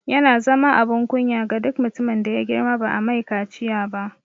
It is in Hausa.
Yana zama abin kunya ga duk mutumin da ya girma ba'a mai kaciya ba